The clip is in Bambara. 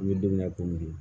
N bɛ don min na komi bi